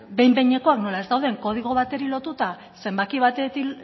behin behinekoak nola ez dauden kodigo bateri lotuta zenbaki batekin